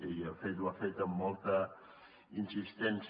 i de fet ho ha fet amb molta insistència